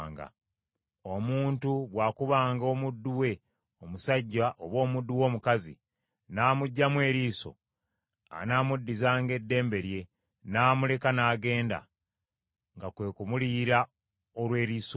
“Omuntu bw’akubanga omuddu we omusajja oba omuddu we omukazi, n’amuggyamu eriiso, anaamuddizanga eddembe lye n’amuleka n’agenda, nga kwe kumuliyira olw’eriiso eryo.